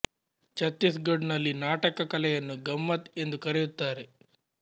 ಛತ್ತೀಸ್ ಘಡ್ ನಲ್ಲಿ ನಾಟಕ ಕಲೆಯನ್ನು ಗಮ್ಮತ್ ಎಂದು ಕರೆಯುತ್ತಾರೆ